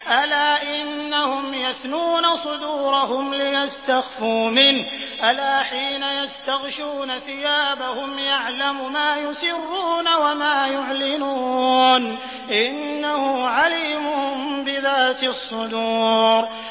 أَلَا إِنَّهُمْ يَثْنُونَ صُدُورَهُمْ لِيَسْتَخْفُوا مِنْهُ ۚ أَلَا حِينَ يَسْتَغْشُونَ ثِيَابَهُمْ يَعْلَمُ مَا يُسِرُّونَ وَمَا يُعْلِنُونَ ۚ إِنَّهُ عَلِيمٌ بِذَاتِ الصُّدُورِ